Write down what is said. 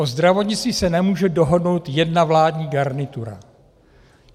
O zdravotnictví se nemůže dohodnout jedna vládní garnitura.